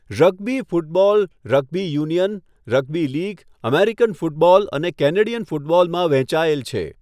Rugby football rugby union, rugby league, American football અને Canadian ફૂટબોલમાં વહેંચાયેલ છે.